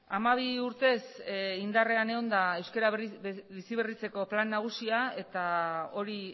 hamabi urtez indarrean egon da euskera biziberritzeko plan nagusia eta hori